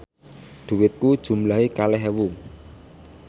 dhuwitku jumlahe kalih ewu